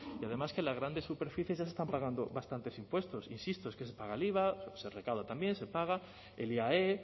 y además que en las grandes superficies ya se están pagando bastantes impuestos insisto es que se paga el iva se recauda también se paga el iae